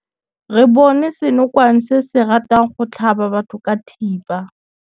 Re bone senokwane se se ratang go tlhaba batho ka thipa.